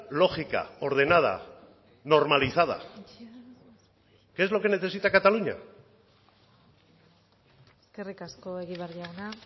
lógica ordenada normalizada que es lo que necesita cataluña eskerrik asko egibar jauna